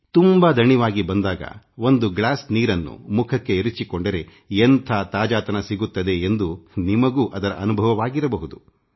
ತುಂಬಾ ದಣಿವಾಗಿ ಬಂದಾಗ ಒಂದು ಲೋಟ ನೀರನ್ನು ಮುಖಕ್ಕೆ ಹಾಕಿಕೊಂಡರೆ ಎಂಥ ತಾಜಾತನ ದೊರಕುತ್ತದೆ ಎಂಬ ಅನುಭವ ನಿಮಗೂ ಆಗಿರಬಹುದು